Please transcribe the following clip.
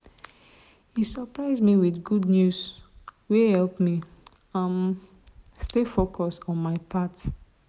he surprise me with good news wey help me um stay focused on my path.